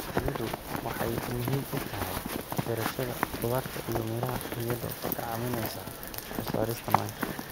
Shinnidu waxay muhiim u tahay beerashada khudaarta iyo miraha iyadoo ka caawinaysa soo saarista manka.